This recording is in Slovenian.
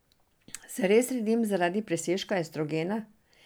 Se res redim zaradi presežka estrogena?